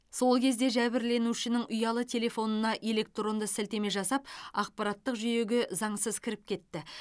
сол кезде жәбірленушінің ұялы телефонына электронды сілтеме жасап ақпараттық жүйеге заңсыз кіріп кетті